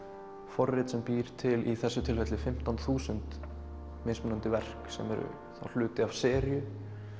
forrit sem býr til í þessu tilfelli fimmtán þúsund mismunandi verk sem eru þá hluti af seríu